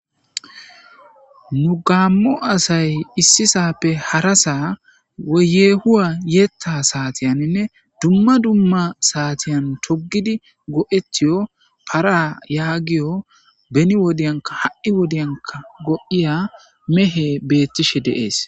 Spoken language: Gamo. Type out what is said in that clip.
nu gaammo asay issisaappe harasaa woye yehuwa yeetta saatiyaninne dumma dumma saatiyan togidi go7etiyo para yaagiyo beni wodyanka ha7i wodiyanka go7iya mehe beettishe deees